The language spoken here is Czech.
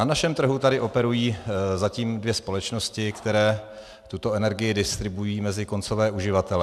Na našem trhu tady operují zatím dvě společnosti, které tuto energii distribuují mezi koncové uživatele.